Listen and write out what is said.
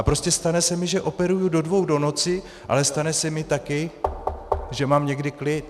A prostě stane se mi, že operuji do dvou do noci, ale stane se mi taky , že mám někdy klid.